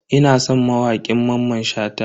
Ina son wakokin Mamman Shata.